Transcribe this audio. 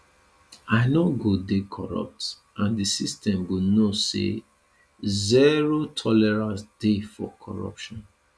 i no go dey corrupt and di system go know say zero tolerance dey for corruption